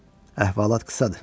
Əhvalat qısadır.